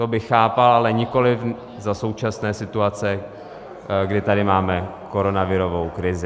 To bych chápal, ale nikoliv za současné situace, kdy tady máme koronavirovou krizi.